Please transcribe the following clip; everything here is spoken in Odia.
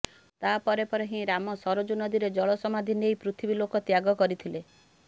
ତା ପରେ ପରେ ହିଁ ରାମ ସରଜୁ ନଦୀରେ ଜଳ ସମାଧି ନେଇ ପୃଥିବୀ ଲୋକ ତ୍ୟାଗ କରିଥିଲେ